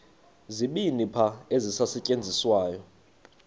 zibini qha ezisasetyenziswayo